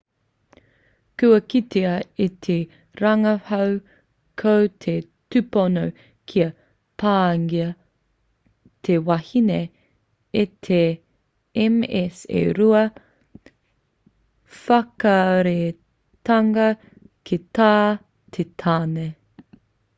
kua kitea e te rangahau ko te tupono kia pāngia te wahine e te ms e rua whakareatanga ki tā te tāne